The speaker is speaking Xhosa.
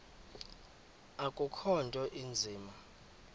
akukho nto inzima